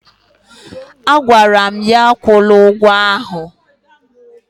Agwara m ya, akwụla ụgwọ ahụ!